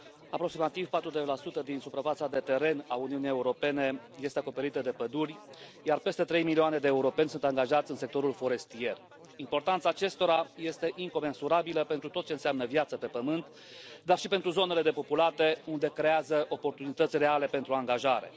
Aproximativ 42 din suprafața de teren a Uniunii Europene este acoperită de păduri, iar peste trei milioane de europeni sunt angajați în sectorul forestier. Importanța acestora este incomensurabilă pentru tot ce înseamnă viață pe Pământ, dar și pentru zonele depopulate unde creează oportunități reale pentru angajare.